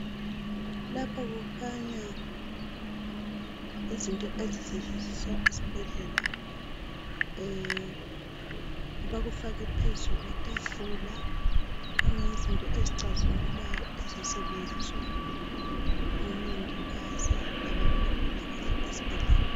Lapha kukhanya izinto ezisetshenziswa esibhedlela, bakufake phezu kwetafula, kukhanya yizinto ezicazimulayo ezisetshenziswa ngo mongikazi labantu bempilakahle esibhedlela